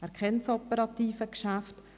Er kennt das operative Geschäft.